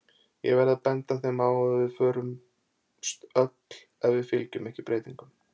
Ég verð að benda þeim á að við förumst öll ef við fylgjum ekki breytingum.